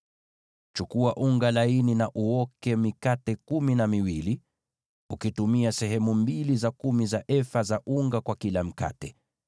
“Chukua unga laini, uoke mikate kumi na miwili, ukitumia sehemu mbili za kumi za efa za unga kwa kila mkate.